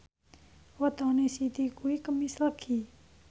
wetone Siti kuwi Kemis Legi